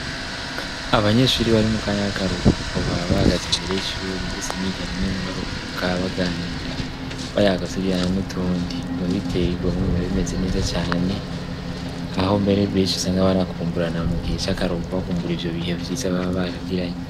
abanyeshuri bari mu kanya k'akaruhuko ba bagaze imbere y'ishuri ndetse niganye n'abaruhuka baganira bayagaturirana n'utundi babiteye igomwe bibabimeze neza cyane aho mbere beshi sanga banakumburana mu gihe cy'akaruhuko bakumbura ivyo bihe byiza baba baragiranye